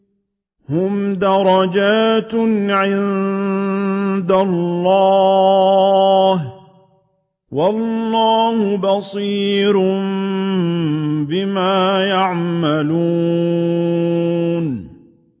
هُمْ دَرَجَاتٌ عِندَ اللَّهِ ۗ وَاللَّهُ بَصِيرٌ بِمَا يَعْمَلُونَ